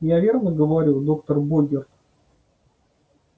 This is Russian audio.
я верно говорю доктор богерт